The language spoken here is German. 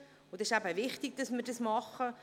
Es ist eben wichtig, dass wir diese machen.